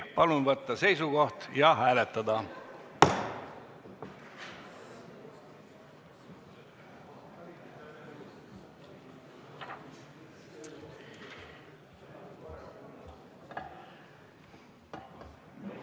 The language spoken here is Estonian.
Palun võtta seisukoht ja hääletada!